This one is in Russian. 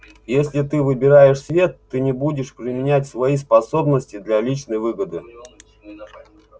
если ты выбираешь свет ты не будешь применять свои способности для личной выгоды